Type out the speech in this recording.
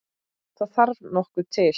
Það þarf nokkuð til!